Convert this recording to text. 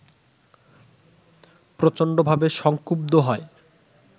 প্রচণ্ডভাবে সংক্ষুব্ধ হয়